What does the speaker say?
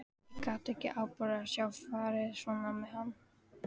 Ég gat ekki afborið að sjá farið svona með hann.